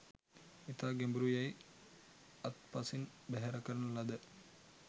ඉතා ගැඹුරු යැයි අත්පසින් බැහැර කරන ලද